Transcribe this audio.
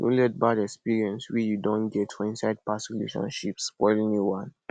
no let bad experience wey you don get for inside past relationship spoil new one